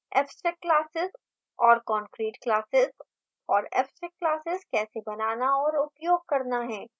abstract classes और concrete classes और abstract classes कैसे बनाना और उपयोग करना है